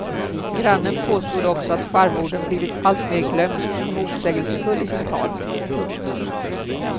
Grannen påstod också att farmodern blivit alltmer glömsk och motsägelsefull i sitt tal. punkt